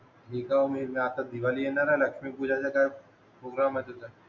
मी काय मी आता दिवाळी येणारे ना लक्ष्मी पूजनाचा काय गुंग मधेच ए